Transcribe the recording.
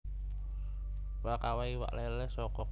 Prakawa iwak lélé saka